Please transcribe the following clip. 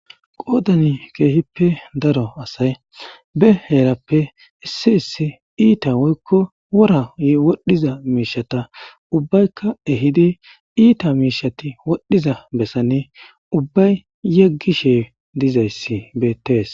Qodan kehipe daro gidiza asaty be herape issi issi ita woyko worayo wodhiza mishata ubayika ehidi ita mishati wodhiza mishati wodhiza besan ubay yegishe dizaysi betes.